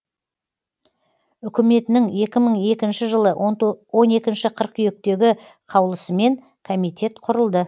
үкіметінің екі мың екінші жылы он екінші қыркүйектегі қаулысымен комитет құрылды